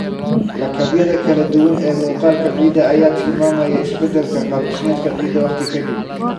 Lakabyada kala duwan ee muuqaalka ciidda ayaa tilmaamaya isbeddelka qaab dhismeedka ciidda waqti ka dib.